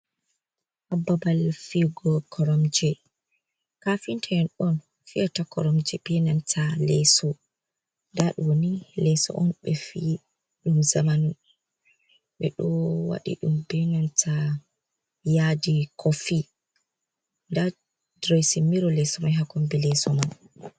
Babal fiyugo koromje kafinta en on fiyata koromje be nanta leeso nda ɗo leeso on ɓe fi ɗum zamanu ɓe ɗo waɗi ɗum be nanta yadi kiofi nda diresi miro leeso mai ha kombi leeso man.